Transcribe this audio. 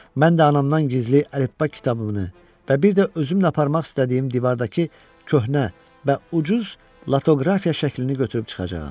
Mən də anamdan gizli əlifba kitabımı və bir də özümlə aparmaq istədiyim divardakı köhnə və ucuz latoqrafiya şəklini götürüb çıxacağam.